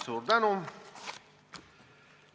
Suur tänu!